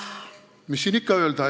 Mis siin ikka öelda?